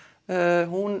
hún